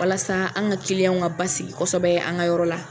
Walasa an ka ka basigi kosɛbɛ an ka yɔrɔ la.